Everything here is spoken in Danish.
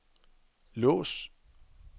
lås